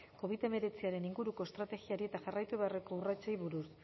covid hemeretziaren inguruko estrategiari eta jarraitu beharreko urratsei buruz